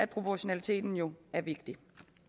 proportionaliteten jo er vigtig